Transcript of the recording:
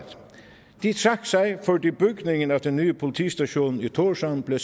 de trak sig fordi bygningen af den nye politistation i tórshavn blev